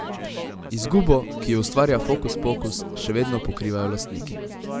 Izgubo, ki jo ustvarja Fokuspokus, še vedno pokrivajo lastniki.